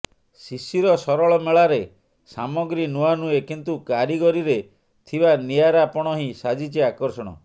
ଶିଶିର ସରସ ମେଳାରେ ସାମଗ୍ରୀ ନୂଆ ନୁହେଁ କିନ୍ତୁ କାରିଗରିରେ ଥିବା ନିଆରା ପଣ ହିଁ ସାଜିଛି ଆକର୍ଷଣ